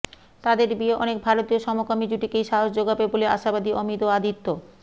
তাদের বিয়ে অনেক ভারতীয় সমকামী জুটিকেই সাহস জোগাবে বলে আশাবাদী অমিত ও আদিত্য